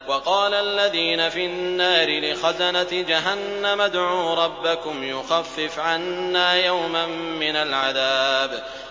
وَقَالَ الَّذِينَ فِي النَّارِ لِخَزَنَةِ جَهَنَّمَ ادْعُوا رَبَّكُمْ يُخَفِّفْ عَنَّا يَوْمًا مِّنَ الْعَذَابِ